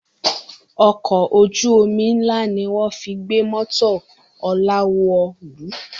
Ọkọ̀ ojú omi ń lá ni wọ́n fi gbé mọ́tò Ọlá wọ̀lú